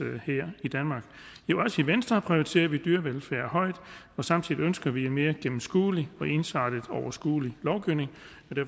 her i danmark også i venstre prioriterer vi dyrevelfærd højt og samtidig ønsker vi en mere gennemskuelig ensartet og overskuelig lovgivning